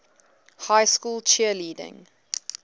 high school cheerleading